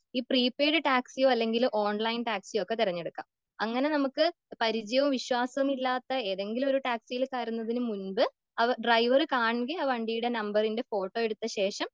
ഈ പ്രീപെയ്ഡ് ടാക്സിയോ അല്ലെങ്കിൽ ഓൺലൈൻ ടാക്സിയോ ഒക്കെ തിരഞ്ഞെടുക്കാം. അങ്ങനെ നമുക്ക് പരിചയമോ വിശ്വാസമോ ഇല്ലാത്ത ഏതെങ്കിലും ഒരു ടാക്സിയിൽ കയറുന്നതിനു മുൻപ് ഡ്രൈവർ കാൺകെ ആ വണ്ടിയുടെ നമ്പറിന്റെ ഫോട്ടോ എടുത്ത ശേഷം